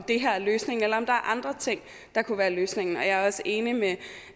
det her er løsningen eller om der er andre ting der kunne være løsningen og jeg er også enig med